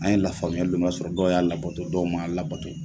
An ye lafamuyali dɔ ma sɔrɔ, dɔw y'a labato, dɔw ma' a labato.